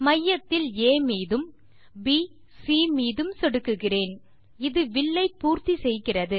மையத்தில் ஆ மீதும் மற்றும் ப் சி மீதும் சொடுக்குகிறேன் இது வில்லை பூர்த்தி செய்கிறது